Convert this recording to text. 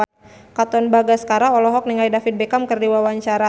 Katon Bagaskara olohok ningali David Beckham keur diwawancara